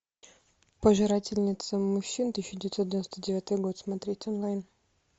пожирательница мужчин тысяча девятьсот девяносто девятый год смотреть онлайн